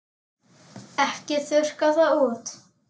Ekki þurrka það út.